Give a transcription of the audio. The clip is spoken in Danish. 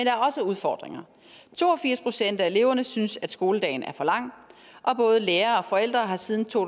er også udfordringer to og firs procent af eleverne synes at skoledagen er for lang og både lærere og forældre har siden to